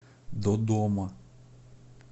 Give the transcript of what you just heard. додома